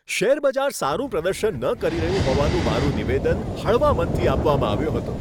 શેરબજાર સારું પ્રદર્શન ન કરી રહ્યું હોવાનું મારું નિવેદન હળવા મનથી આપવામાં આવ્યું હતું.